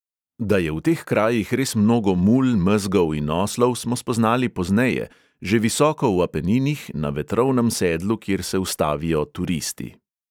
Da je v teh krajih res mnogo mul, mezgov in oslov, smo spoznali pozneje, že visoko v apeninih, na vetrovnem sedlu, kjer se ustavijo turisti.